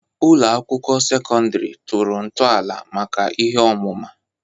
Ụlọ ụlọ akwụkwọ sekọndrị tọrọ ntọala maka ihe ọmụma.